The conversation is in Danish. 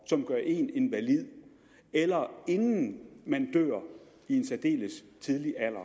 som gør en invalid eller inden man dør i en særdeles tidlig alder